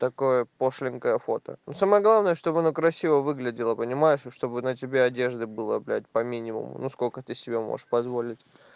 такое пошленькая фото ну самое главное чтобы она красиво выглядела понимаешь и чтобы на тебе одежды было блядь по минимуму сколько ты себе можешь позволить